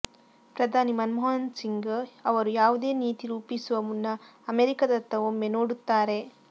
ಪ್ರಧಾನಿ ಮನಮೋಹನ್ ಸಿಂಗ್ ಅವರು ಯಾವುದೇ ನೀತಿ ರೂಪಿಸುವ ಮುನ್ನ ಅಮೆರಿಕದತ್ತ ಒಮ್ಮೆ ನೋಡುತ್ತಾರೆ